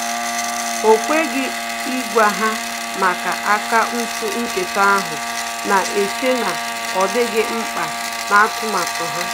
O kweghị ịgwa ha maka akaụntụ nketa ahụ, na-eche na ọ dịghị mkpa na atụmatụ ha